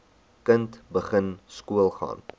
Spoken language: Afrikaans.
kind begin skoolgaan